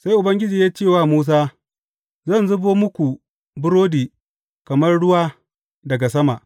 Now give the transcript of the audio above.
Sai Ubangiji ya ce wa Musa, Zan zubo muku burodi kamar ruwa daga sama.